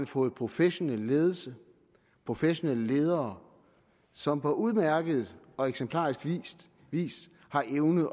fået professionel ledelse og professionelle ledere som på udmærket og eksemplarisk vis har evnet